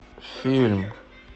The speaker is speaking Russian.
фильм